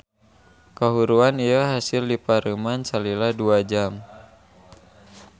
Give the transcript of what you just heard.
Kahuruan ieu hasil dipareuman salila dua jam.